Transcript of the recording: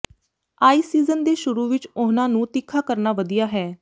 ice season ਦੇ ਸ਼ੁਰੂ ਵਿਚ ਉਹਨਾਂ ਨੂੰ ਤਿੱਖਾ ਕਰਨਾ ਵਧੀਆ ਹੈ